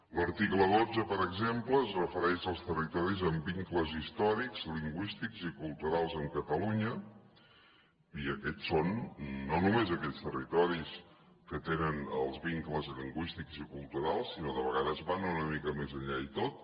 l’article dotze per exemple es refereix als territoris amb vincles històrics lingüístics i culturals amb catalunya i aquests són no només aquells territoris que tenen els vincles lingüístics i culturals sinó que de vegades van una mica més enllà i tot